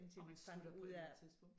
Og man slutter på et tidspunkt